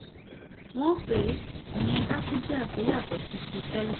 wọ́n pè é ìyẹn gáfúdíà tó yàtọ̀ sí ti tẹ́lẹ̀